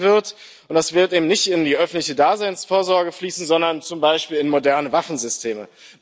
fehlen wird, und das wird eben nicht in die öffentliche Daseinsvorsorge fließen, sondern zum Beispiel in moderne Waffensysteme.